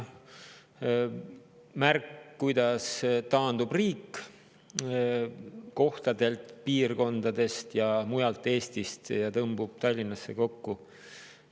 Üks märk on, kuidas taandub riik kohtadelt, piirkondadest, mujalt Eestist tõmbub Tallinnasse kokku.